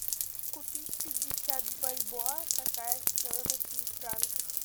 купить пятьдесят бальбоа какая стоимость в франках